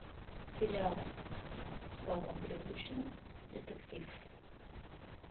сериал с павлом прилучным детектив